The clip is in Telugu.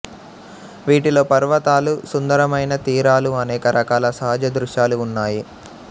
వీటిలో పర్వతాలు సుందరమైన తీరాలు అనేక రకాల సహజ దృశ్యాలు ఉన్నాయి